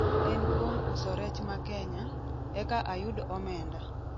en kuom uso rech ma kenya , eka ayud omenda